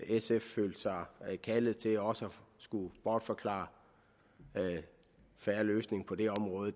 sf følte sig kaldet til også at skulle bortforklare en fair løsning på det område